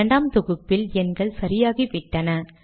இரண்டாம் தொகுப்பில் எண்கள் சரியாகிவிட்டன